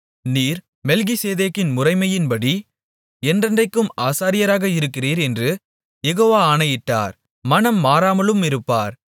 நீர் மெல்கிசேதேக்கின் முறைமையின்படி என்றென்றைக்கும் ஆசாரியராக இருக்கிறீர் என்று யெகோவா ஆணையிட்டார் மனம் மாறாமலுமிருப்பார்